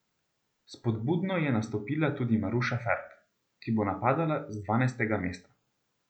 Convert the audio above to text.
Spodbudno je nastopila tudi Maruša Ferk, ki bo napadala z dvanajstega mesta.